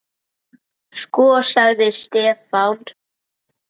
Sko. sagði Stefán.